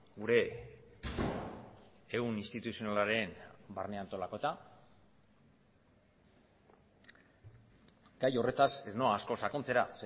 gure ehun instituzionalaren barne antolaketa gai horretaz ez noa asko sakontzera